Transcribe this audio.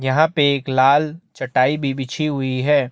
यहाँ पे एक लाल चटाई भी बिछी हुई है।